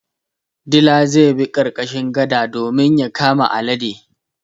Dila zai bi ƙarƙashin gada domin ya kama alade.